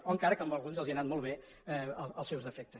o encara que a alguns els han anat molt bé els seus defectes